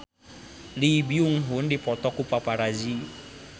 Lee Byung Hun dipoto ku paparazi